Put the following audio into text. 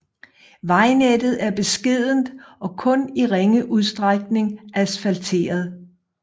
Vejnettet er beskedent og kun i ringe udstrækning asfalteret